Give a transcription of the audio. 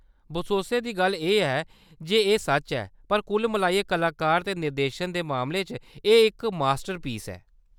बसोसै दी गल्ल ऐ जे एह्‌‌ सच्च ऐ, पर कुल मलाइयै कलाकारें ते निर्देशन दे मामले च एह्‌‌ इक मास्टरपीस ऐ।